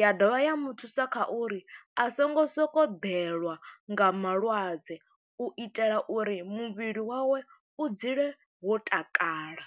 ya dovha ya muthusa kha uri a songo sokou ḓelwa nga malwadze. U itela uri muvhili wawe, u dzule wo takala.